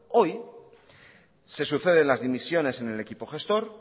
hoy se suceden las dimisiones en el equipo gestor